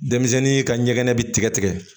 Denmisɛnnin ka ɲɛgɛn bi tigɛ